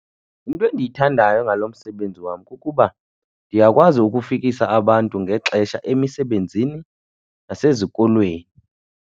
Into endiyithandayo ngalo msebenzi wam kukuba ndiyakwazi ukufikisa abantu ngexesha emisebenzini nasezikolweni.